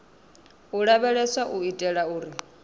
u lavheleswa u itela uri